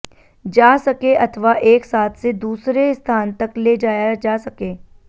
जा सके अथवा एक साथ से दूसरे स्थान तक ले जाया जा सके